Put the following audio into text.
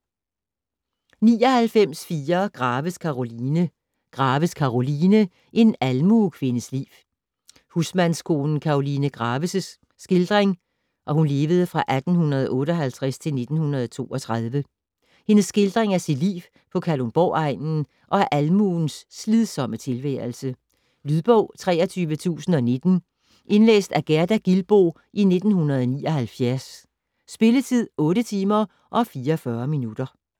99.4 Graves, Karoline Graves, Karoline: En almuekvindes liv Husmandskonen Karoline Graves' (1858-1932) skildring af sit liv på Kalundborg-egnen og af almuens slidsomme tilværelse. Lydbog 23019 Indlæst af Gerda Gilboe, 1979. Spilletid: 8 timer, 44 minutter.